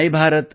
MY Bharat